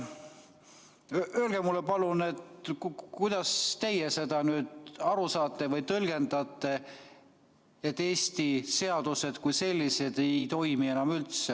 Öelge mulle palun, kuidas teie sellest nüüd aru saate või tõlgendate, et Eesti seadused kui sellised ei toimi enam üldse.